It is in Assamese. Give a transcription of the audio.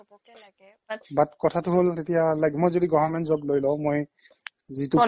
but কথাটো হ'ল এতিয়া like মই যদি government job লৈ লও মই যিটো